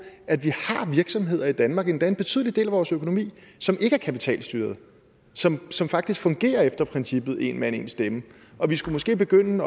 at vi har virksomheder i danmark endda en betydelig del af vores økonomi som ikke er kapitalstyret som som faktisk fungerer efter princippet en mand en stemme og vi skulle måske begynde